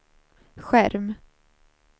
skärm